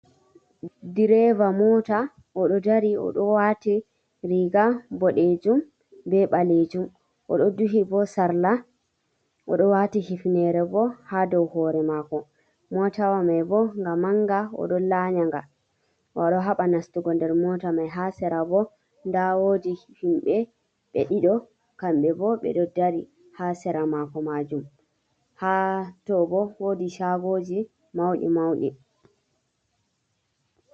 Direva mota oɗo dari oɗo wati riga boɗejum be ɓalejum oɗo duhi bo sarla oɗo wati hifnere bo ha dow hore mako mota wa mai bo ga manga oɗo lanyanga oɗo haba nastugo nder mota mai ha sera bo nda wodi himbe ɓe ɗiɗi kamɓe bo ɓe ɗo dari ha sera mako majum, hato bo wodi chagoji mauɗi mauɗi.